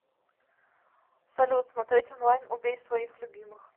салют смотреть онлайн убей своих любимых